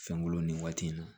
Fɛnko nin waati in na